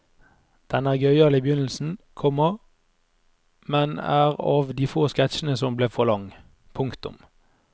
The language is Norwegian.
Den er gøyal i begynnelsen, komma men er av de få sketsjene som ble for lang. punktum